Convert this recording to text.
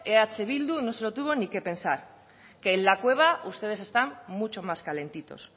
eh bildu no se lo tuvo ni que pensar que en la cueva ustedes están mucho más calentitos